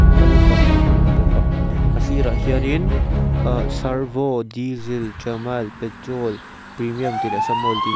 kal na tam tak an awm bawk a a sirah hianin ahh servo diesel tramile petrol premium tih leh --